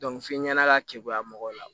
f'i ɲɛna ka kekuya mɔgɔw la